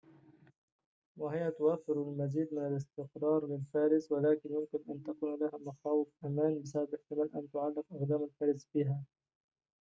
وهي توفر المزيد من الاستقرار للفارس ولكن يمكن أن تكون لها مخاوف أمان بسبب احتمال أن تعلق أقدام الفارس بها